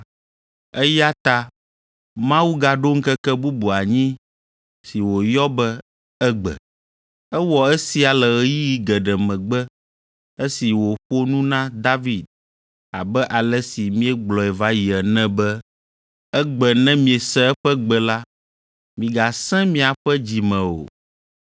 Eya ta Mawu gaɖo ŋkeke bubu anyi si wòyɔ be “Egbe.” Ewɔ esia le ɣeyiɣi geɖe megbe esi wòƒo nu na David abe ale si míegblɔe va yi ene be, “Egbe ne miese eƒe gbe la, migasẽ miaƒe dzi me o.”